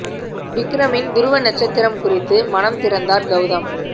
விக்ரமின் துருவ நட்சத்திரம் குறித்து மனம் திறந்தார் கௌதம்